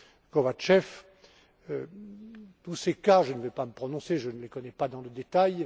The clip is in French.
M. Kovatchev, sur tous ces cas, je ne vais pas me prononcer, je ne les connais pas dans le détail